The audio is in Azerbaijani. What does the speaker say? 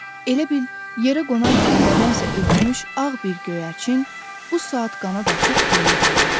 Elə bil yerə qonan kimi nədənsə ürkmüş ağ bir göyərçin, bu saat qanad açıb göyə uçacaqdı.